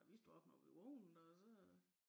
Vi står op når vi vågnede og så